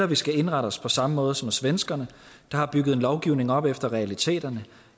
vi skal indrette os på samme måde som svenskerne der har bygget en lovgivning op efter realiteterne